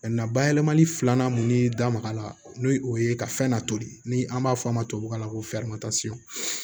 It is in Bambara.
bayɛlɛmali filanan mun ni da maga la n'o ye o ye ka fɛn latoli ni an b'a fɔ a ma tubabu kan na ko